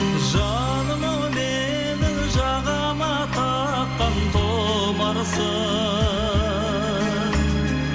жаным ау менің жағама таққан тұмарсың